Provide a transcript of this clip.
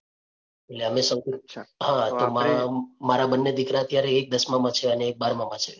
એટલે અમે મારા બંને દીકરા અત્યારે એક દસમામાં છે ને એક બારમા માં છે.